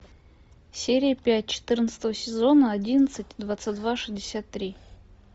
серия пять четырнадцатого сезона одиннадцать двадцать два шестьдесят три